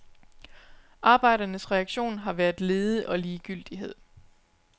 Arbejdernes reaktion har været lede og ligegyldighed.